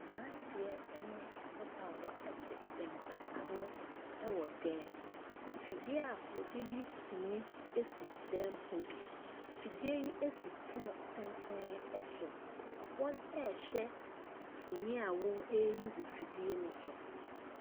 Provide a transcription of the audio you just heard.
Aberanteɛ ne ababaawa te mpa ano wɔ dan mu. Fidie a wɔde yi sini si dan mu hɔ bi. Fidie yi si pono tenten so. Wɔrehwɛ mfonin a wɔreyi wɔ fidie no do.